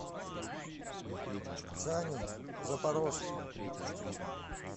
саню запорожца